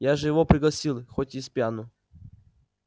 я же его пригласил хоть и спьяну